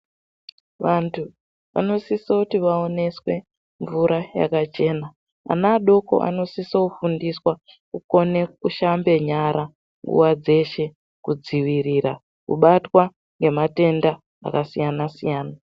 Vantu vanosisoti vaoneswe mvura yakachena. Ana adoko anosiso kufundiswa kukone kushambe nyara nguwa dzeshe kudzivirira kubatwa ngematenda akasiyana- siyana.